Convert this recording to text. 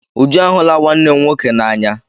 Uju a hụla nwanne m nwoke n'anya.